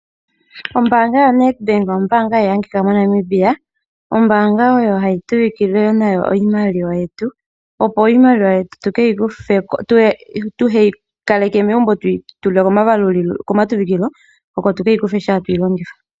Ombaanga yo Standard bank ombaanga hayi adhikwa moNamibia. Ombaanga ndjono hatu pungula nayo iimaliwa yetu, opo iimaliwa yetu ka tu yi kaleke megumbo tu yi tule koompungulilo oko tu ke yi kuthe ngele tatu yi longitha.